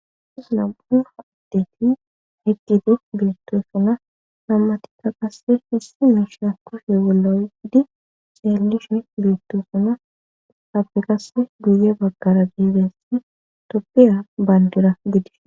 am7u haaddeti heqqidu beettosuna nammatika qasse hissi miishan kofe wuloydi xeelishin beettosuna habeqasse guye baggara giidessi toppiya bayndura gidish.